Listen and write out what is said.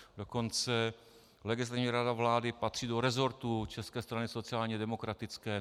Dokonce Legislativní rada vlády patří do resortu České strany sociálně demokratické.